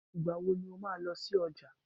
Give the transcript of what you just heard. Ìgbà wo ni wà á lọ sí ọjà?